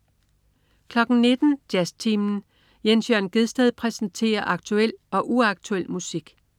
19.00 Jazztimen. Jens Jørn Gjedsted præsenterer aktuel og uaktuel musik